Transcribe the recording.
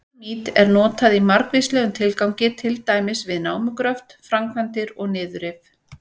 Dínamít er notað í margvíslegum tilgangi, til dæmis við námugröft, framkvæmdir og niðurrif.